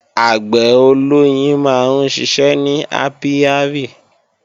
Àgbẹ̀ olóyin máa ń ṣiṣẹ́ ní ápíárì